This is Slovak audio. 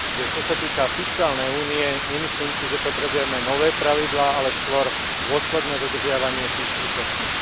Čo sa týka fiškálnej únie, nemyslím si, že potrebujeme nové pravidlá, ale skôr dôsledné dodržiavanie tých súčasných.